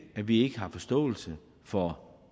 at vi ikke har forståelse for